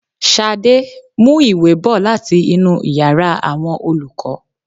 Ṣadé, mú ìwé bò láti inú ìyára àwọn olùkọ́.